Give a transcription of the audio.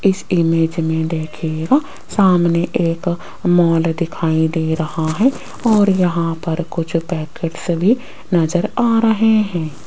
इस इमेज में देखिएगा सामने एक मॉल दिखाई दे रहा है और यहां पर कुछ पैकेट्स भी नजर आ रहे हैं।